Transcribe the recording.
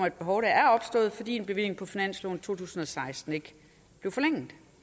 et behov der er opstået fordi en bevilling på finansloven to tusind og seksten ikke blev forlænget